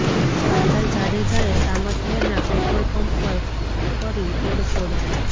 કાંધલ જાડેજાએ સામત મેરના petrol pump પર કરી તોડફોડ